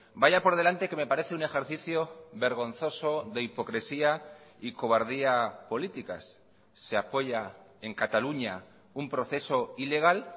vaya por delante que me parece un ejercicio vergonzoso de hipocresía y cobardía políticas se apoya en cataluña un proceso ilegal